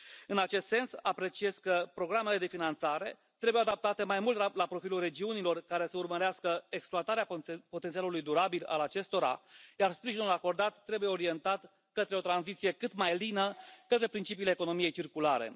În acest sens, apreciez că programele de finanțare trebuie adaptate mai mult la profilul regiunilor care să urmărească exploatarea potențialului durabil al acestora, iar sprijinul acordat trebuie orientat către o tranziție cât mai lină către principiile economiei circulare.